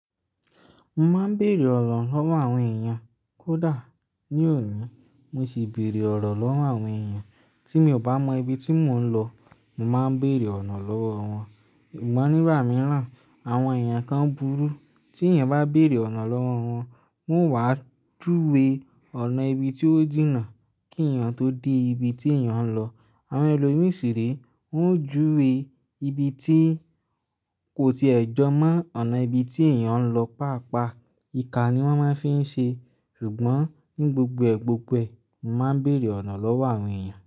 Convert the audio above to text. Mo máa ń bèèrè ọ̀nà lọ́wọ́ àwọn èèyàn. Kódà ní òní, mo sì ń bèèrè ọ̀nà lọ́wọ́ àwọn èèyàn. Tí mi ò bá mọ ibi tí mò ń lọ, màá béèrè ọ̀nà lọ́wọ́ wọn. Sugbọ́n ní gbà mí ràn. Àwọn èèyàn kan burú. Tí èèyàn bá bèèrè ọ̀nà lọ́wọ́ wọn, wọ́n wà júwe ọ̀nà ibi tí ó jìnnà kí èèyàn tó dé ibi tí èèyàn ń lọ. Àwọn ẹlòmíràn sì rí, wọ́n ó júwe ibi tí kò ti ẹ̀ jọmọ́ ọ̀nà ibi tí èèyàn ń lọ, pàápàá ìka ni wọ́n máa ń fi ń ṣe. Ṣùgbọ́n ní gbogbo gbogbo ẹ, mo máa ń bèèrè ọ̀nà lọ́wọ́ àwọn èèyàn.